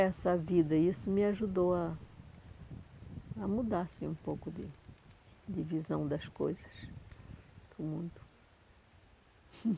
Essa vida, isso me ajudou a a mudar assim um pouco de de visão das coisas do mundo.